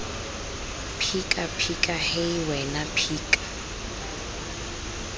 phika phika hei wena phika